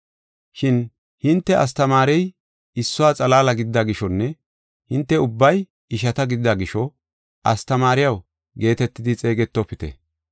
“Shin hinte astamaarey issuwa xalaala gidida gishonne hinte ubbay ishata gidida gisho, ‘Astamaariyaw’ geetetidi xeegetofite.